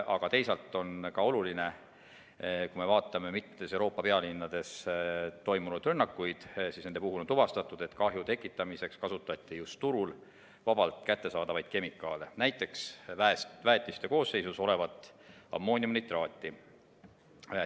Aga teisalt on oluline ka see, et mitmes Euroopa pealinnas toimunud rünnakute puhul on tuvastatud, et kahju tekitamiseks kasutati turul vabalt kättesaadavaid kemikaale, näiteks väetiste koosseisus olevat ammooniumnitraati.